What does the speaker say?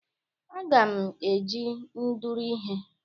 Aga m eji ndụrụ ihe.